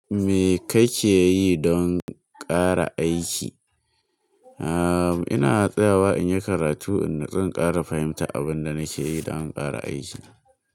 Me kake yi don ƙara aiki? Aaa, ina tsayawa in yi karatu, in nutsu in kara fahimta abin da nake yi don in ƙara aiki.